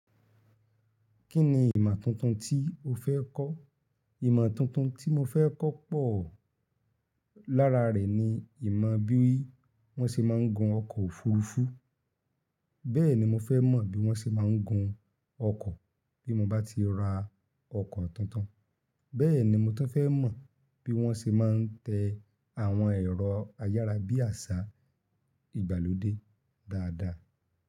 Kí ni ìmọ̀ tuntun tí o fẹ́ kọ́? Ìmọ̀ tuntun tí mo fẹ́ kó pọ̀ lára rẹ̀ ni ìmọ̀ bí wọ́n ṣe máa ń gun ọkọ̀ òfurufú. Bẹ́ẹ̀ ni mo fẹ́ mọ̀ bí wọ́n ṣe máa ń gun ọkọ̀ bí mo bá ti ra ọkọ̀ tuntun. Bẹ́ẹ̀ ni mo tún fẹ́ mọ̀ bí wọ́n ṣe máa ń tẹ àwọn ẹ̀rọ ayára bí àṣá, ìgbàlódé dáadáa.